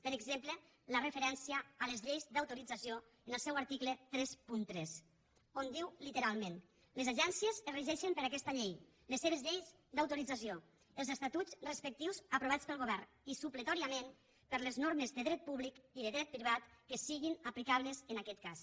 per exemple la referència a les lleis d’autorització en el seu article trenta tres on diu literalment les agències es regeixen per aquesta llei les seves lleis d’autorització els estatuts respectius aprovats pel govern i supletòriament per les normes de dret públic i de dret privat que siguin aplicables en aquest cas